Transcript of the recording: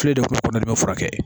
Filen dɔ kɔnɔ